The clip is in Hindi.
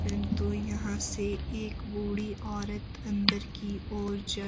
परंतु तो यहां से एक बूढ़ी औरत अंदर की ओर जा--